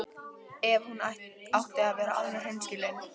Ef hún átti að vera alveg hreinskilin.